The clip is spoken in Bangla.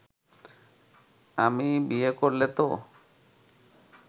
আমি বিয়ে করলে তো